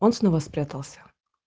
он снова спрятался